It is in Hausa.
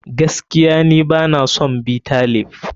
Gaskiya ni bana son Bitter leaf.